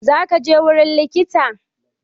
Zaka je wurin likita?